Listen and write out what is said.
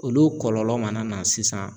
Olu kɔlɔlɔ mana na sisan